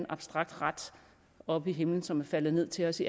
abstrakt ret oppe i himlen som er faldet ned til os